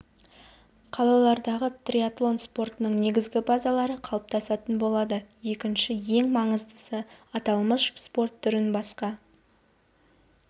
қалаларындағы триатлон спортының негізгі базалары қалыптасатын болады екінші рі ең маңыздысы аталмыш спорт түрін басқа